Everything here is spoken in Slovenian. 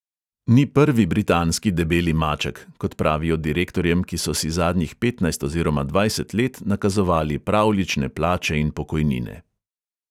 Ni prvi britanski debeli maček, kot pravijo direktorjem, ki so si zadnjih petnajst oziroma dvajset let nakazovali pravljične plače in pokojnine.